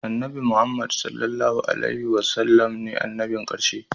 Annabi Muhammad (SAW) ne annabin karshe